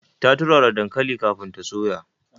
Ta turara dankalin kafin ta soya.